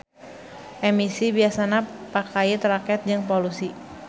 Emisi biasana pakait raket jeung polusi.